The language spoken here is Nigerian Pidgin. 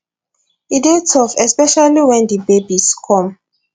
e dey tough especially wen di babies come